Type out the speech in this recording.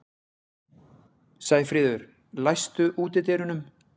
Sæfríður, læstu útidyrunum.